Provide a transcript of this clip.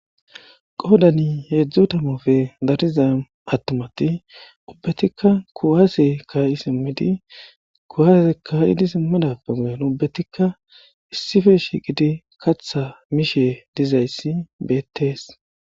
Qoodani heedzdzu tamofe dariza attumati ubbetikka kuwaase kaayi simmidi kuwase kayidi simmidappe gudan ubbetikka issife shiiqidi katha mishe dizayssi beettees